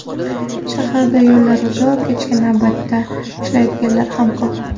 Shaharda yo‘llar uzoq, kechki navbatda ishlaydiganlar ham ko‘p.